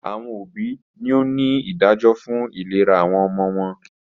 Awọn obi ni o ni idajọ fun ilera awọn ọmọ wọn